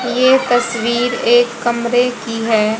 ये तस्वीर एक कमरे की है।